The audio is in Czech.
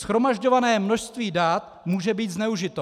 Shromažďované množství dat může být zneužito.